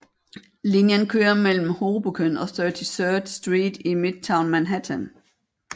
Linjen kører mellem Hoboken og 33rd Street i Midtown Manhattan